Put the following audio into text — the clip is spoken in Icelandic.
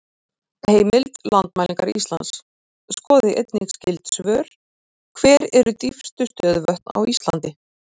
Heimild: Landmælingar Íslands Skoðið einnig skyld svör: Hver eru dýpstu stöðuvötn á Íslandi?